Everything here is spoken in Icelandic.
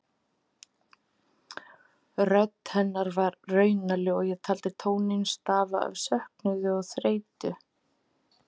Rödd hennar var raunaleg og ég taldi tóninn stafa af söknuði og þreytu.